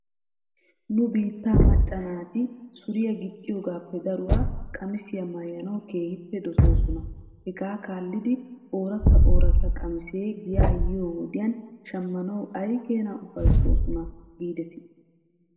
Nu biittaa macca naati suriyaa gixxiyoogaape daruwaa qamisiyaa maayanaw keehippe dosoosona. Hegaa kaallidi oratta ooratta qamiisee giyaa yiyoo wodiyan shammanaw aykeena ufayttoosona giidetii?